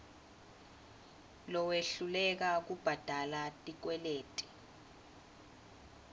lowehluleka kubhadala tikweleti